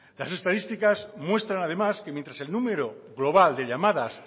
las estadísticas muestran además que mientras el número global de llamadas